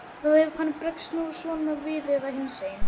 Hvað ef hann bregst nú svona við eða hinsegin?